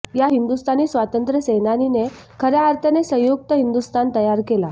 या हिंदुस्थानी स्वातंत्र्यसेनानीने खऱया अर्थाने संयुक्त हिंदुस्थान तयार केला